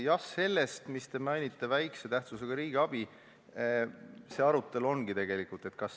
Jah, sellest, mida te mainisite – vähese tähtsusega riigiabi –, see arutelu tegelikult ongi.